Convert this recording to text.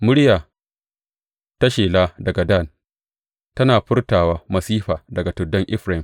Murya ta shela daga Dan, tana furtawa masifa daga tuddan Efraim.